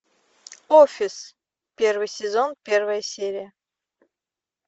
офис первый сезон первая серия